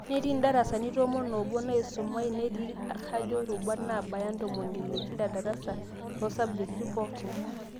Netii ndarasani tomon oobo naaisumai, netii kajo irubat naabaya intomoni ile kila darsa, tosabjekti pookin